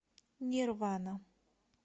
нирвана